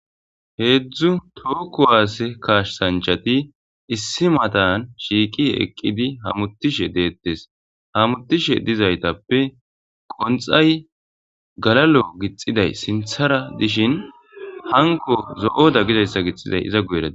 heedzdzu tookku waase kaashsanchati issi matan shiiqi eqqidi hamutishe deettes hamutishe dizaytappe qonxay galalo gixiday sinthara dishin hanko zo7oda gidayssa gixiday iza guyerada